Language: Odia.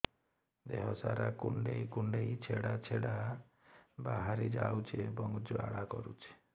ଦେହ ସାରା କୁଣ୍ଡେଇ କୁଣ୍ଡେଇ ଛେଡ଼ା ଛେଡ଼ା ବାହାରି ଯାଉଛି ଏବଂ ଜ୍ୱାଳା କରୁଛି